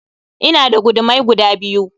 Ina da gudumai guda biyu